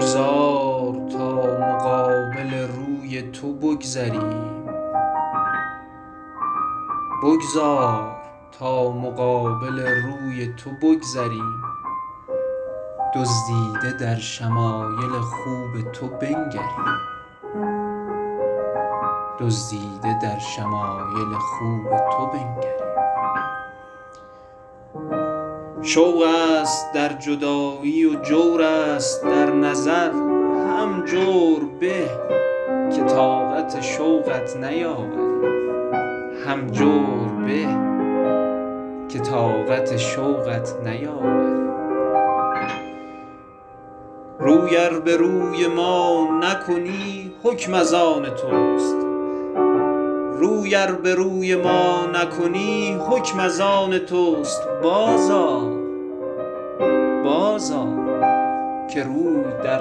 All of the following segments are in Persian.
بگذار تا مقابل روی تو بگذریم دزدیده در شمایل خوب تو بنگریم شوق است در جدایی و جور است در نظر هم جور به که طاقت شوقت نیاوریم روی ار به روی ما نکنی حکم از آن توست بازآ که روی در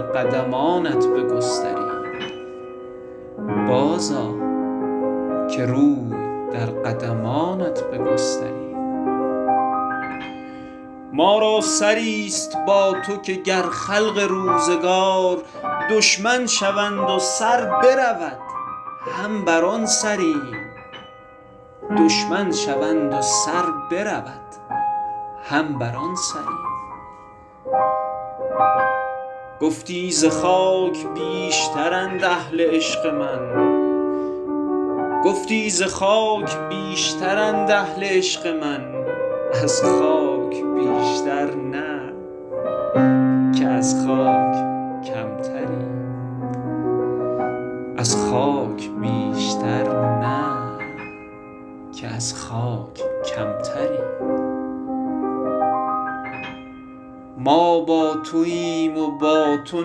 قدمانت بگستریم ما را سری ست با تو که گر خلق روزگار دشمن شوند و سر برود هم بر آن سریم گفتی ز خاک بیشترند اهل عشق من از خاک بیشتر نه که از خاک کمتریم ما با توایم و با تو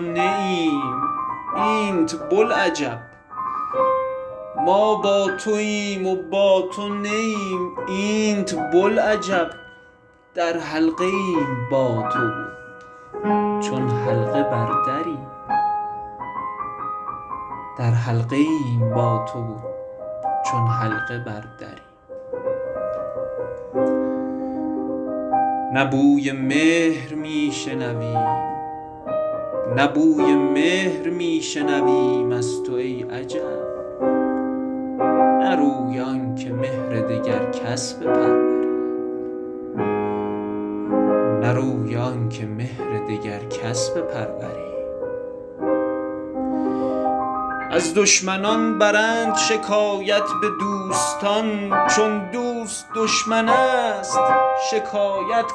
نه ایم اینت بلعجب در حلقه ایم با تو و چون حلقه بر دریم نه بوی مهر می شنویم از تو ای عجب نه روی آن که مهر دگر کس بپروریم از دشمنان برند شکایت به دوستان چون دوست دشمن است شکایت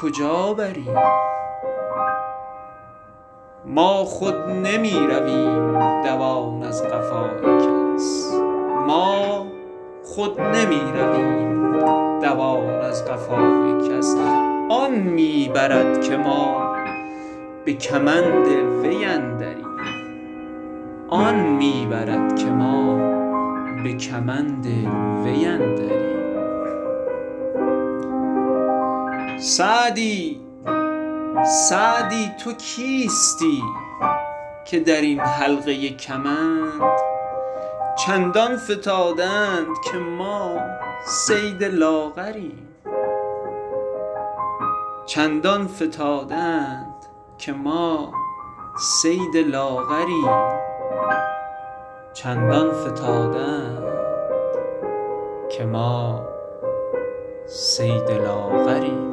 کجا بریم ما خود نمی رویم دوان در قفای کس آن می برد که ما به کمند وی اندریم سعدی تو کیستی که در این حلقه کمند چندان فتاده اند که ما صید لاغریم